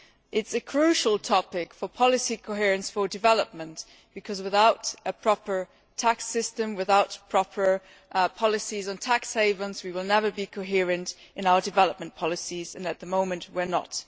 It is a crucial topic for policy coherence for development because, without a proper tax system, without proper policies on tax havens, we will never be coherent in our development policies and, at the moment, we are not.